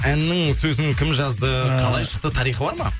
әннің сөзін кім жазды қалай шықты тарихы бар ма